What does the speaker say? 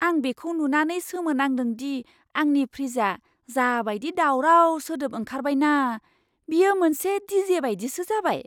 आं बेखौ नुनानै सोमोनांदों दि आंनि फ्रिजआ जाबादि दावराव सोदोब ओंखारबाय ना, बेयो मोनसे डिजे बायदिसो जाबाय!